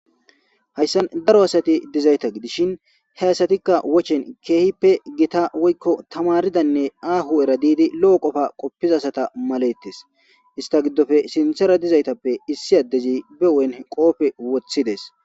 Hayisan daro asati dizaysa gidishin he asatika woche kehidi gita woy tamaridanee aho erayi didi qopiza asaza malay de'es isita gidope sinthara dizays be huphen kope wothizes